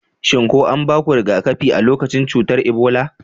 Shin ko anbaku riga-kafi a lokacin cutar Ebola?